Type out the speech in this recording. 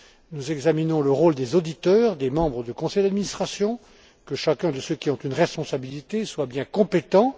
Nous examinons le rôle des auditeurs, des membres de conseils d'administration, de façon à vérifier que chacun de ceux qui ont une responsabilité soit bien compétent.